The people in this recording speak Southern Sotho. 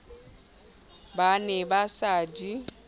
ba ne ba sa di